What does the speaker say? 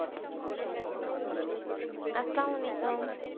আস্সালামালিকুম